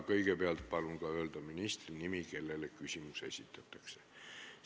Kõigepealt palun öelda ka ministri nimi, kellele küsimus esitatakse.